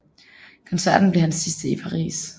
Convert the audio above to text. Koncerten blev hans sidste i Paris